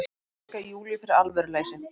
Ásakaði Júlíu fyrir alvöruleysi.